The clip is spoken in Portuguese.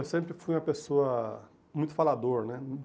Eu sempre fui uma pessoa muito falador, né?